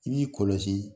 I b'i kɔlɔsi